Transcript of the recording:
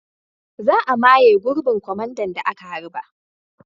Za a maye gurbin kwamandan da aka harba.